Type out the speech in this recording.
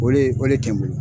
O le o le tɛ n bolo.